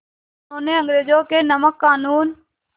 उन्होंने अंग्रेज़ों के नमक क़ानून